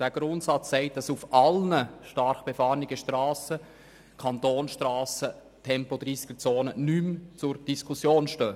Dieser Grundsatz besagt, dass auf allen stark befahrenen Kantonsstrassen Tempo-30-Zonen nicht mehr zur Diskussion stehen.